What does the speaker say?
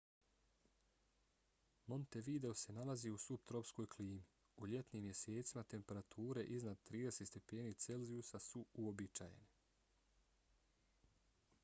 montevideo se nalazi u suptropskoj klimi; u ljetnim mjesecima temperature iznad + 30 °c su uobičajene